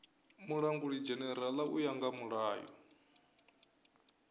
mulangulidzhenerala u ya nga mulayo